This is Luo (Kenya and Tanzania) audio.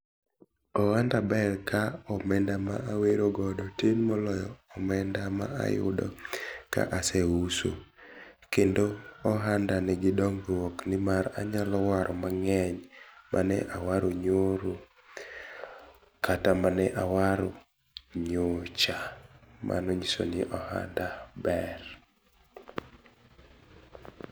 Ohanda ber ka omenda ma awero godo tin moloyo omenda ma ayudo ka aseuso. Kendo ohandani, dhi dongruok nimar anyalo waro mang'eny, mane awaro nyoro kata mane awaro nyocha, mano nyiso ni ohanda ber.